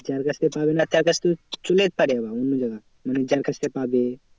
যার কাছ থেকে পাবে না তার কাছ থেকে চলে যেতে পারে অন্য জোনায় যার কাছ থেকে পাবে।